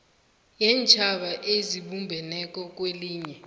yeentjhaba ezibumbeneko kwelinye